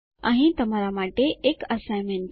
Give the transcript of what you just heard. અહીં તમારા માટે એક એસાઈનમેન્ટ છે